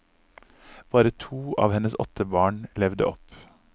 Bare to av hennes åtte barn levde opp.